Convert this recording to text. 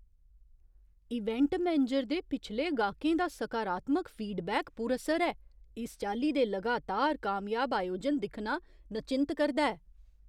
Event manager दे पिछले गाह्‌कें दा सकारात्मक फीडबैक पुरअसर ऐ। इस चाल्ली दे लगातार कामयाब आयोजन दिक्खना नचिंत करदा ऐ।